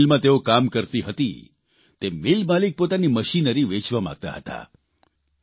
જે મિલમાં તેઓ કામ કરતી હતી તે મિલમાલિક પોતાની મશીનરી વેચવા માગતા હતા